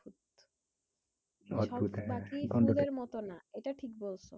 ফুলের মতো না এটা ঠিক বলছো